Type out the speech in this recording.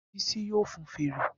Bisi a fọn fèrè.